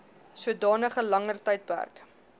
sodanige langer tydperk